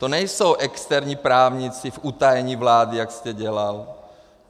To nejsou externí právníci v utajení vlády, jak jste dělal.